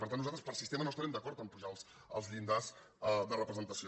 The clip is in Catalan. per tant nosaltres per sistema no es·tarem d’acord a apujar els llindars de representació